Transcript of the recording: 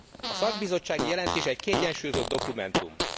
A szakbizottsági jelentés egy kiegyensúlyozott dokumentum.